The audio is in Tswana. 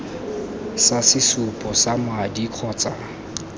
sa sesupo sa madi kgotsa